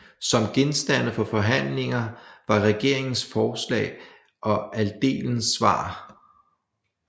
Som genstande for forhandlinger var regeringens forslag og adelens svar